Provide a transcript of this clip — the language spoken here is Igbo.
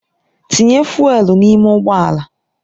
Tinye fụ́élú n'ime ụgbọ ala!